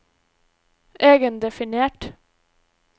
egendefinert